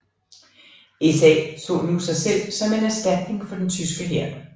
SA så nu sig selv som en erstatning for den tyske hær